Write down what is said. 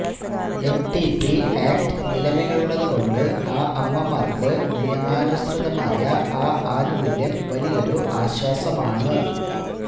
MTP act നിലവിലുള്ളതു കൊണ്ട് ആ അമ്മമാർക്ക് നിയമാനുസൃതമായ ആ ആനുകൂല്യം വലിയൊരു ആശ്വാസമാണ്